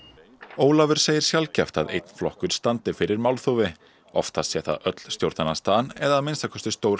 Ólafur segir sjaldgæft að einn flokkur standi fyrir málþófi oftast sé það öll stjórnarandstaðan eða að minnsta kosti stór